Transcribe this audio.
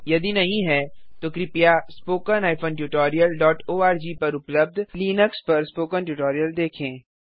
यदि नहीं है तो कृपया spoken tutorialओआरजी पर उपलब्ध लिनक्स पर स्पोकन ट्यूटोरियल देखें